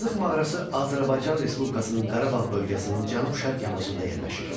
Azıq mağarası Azərbaycan Respublikasının Qarabağ bölgəsinin cənub-şərq yamacında yerləşir.